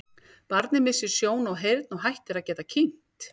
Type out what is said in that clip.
Barnið missir sjón og heyrn og hættir að geta kyngt.